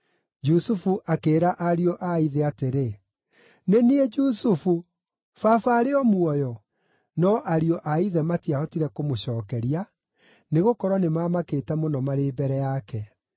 Jusufu akĩĩra ariũ a ithe atĩrĩ, “Nĩ niĩ Jusufu! Baba arĩ o muoyo?” No ariũ a ithe matiahotire kũmũcookeria, nĩgũkorwo nĩmamakĩte mũno marĩ mbere yake.